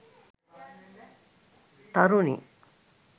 tharuni